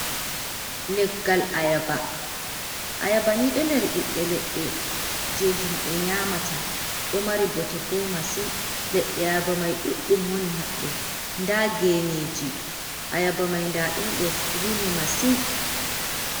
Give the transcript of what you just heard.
Leggal ayaba. ayabani do nder bibbe ledde je himbe nyamata do mari bote bo masin ledde ayaba mai duɗdum woni haddo da geneji ayaba mai da dum do rimi masin.